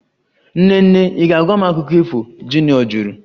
Nene ị ga-agwa m akụkọ ifo? Junior jụrụ